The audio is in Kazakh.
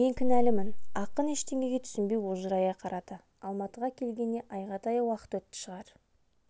мен кінәлімін ақын ештеңеге түсінбей ожырая қарады алматыға келгеніне айға таяу уақыт өтті шығар